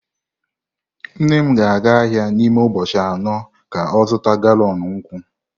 Nne m ga-aga ahia n'ime ubochi ano ka o zuta galọn nkwu.